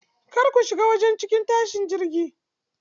Kar ku shiga cikin wajen tashin jirgi.